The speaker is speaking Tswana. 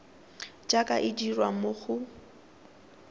jaaka e dirwa mo go